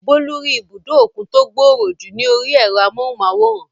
Bólú rí ibùdó òkun tó gbòòrò jù ní orí ẹ̀rọ amóhùnmáwòrán